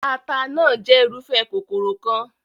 Taata náà jẹ́ irúfẹ́ kòkòrò kan.